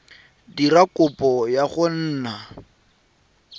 dira kopo ya go nna